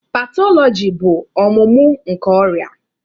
Pathology bụ ọmụmụ nke ọrịa.